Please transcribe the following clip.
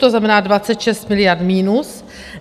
To znamená 26 miliard minus.